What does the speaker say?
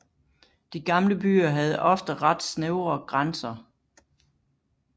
De gamle byer havde ofte ret snævre grænser